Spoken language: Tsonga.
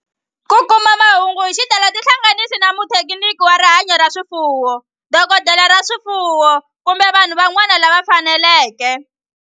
Ku kuma mahungu hi xitalo tihlanganisi na muthekiniki wa rihanyo ra swifuwo, dokodela ya swifuwo, kumbe vanhu van'wana lava fanelekeke.